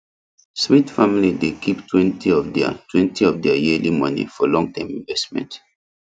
smith family dey keeptwentyof theirtwentyof their yearly money for longterm investment